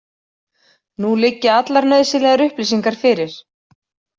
Nú liggja allar nauðsynlegar upplýsingar fyrir.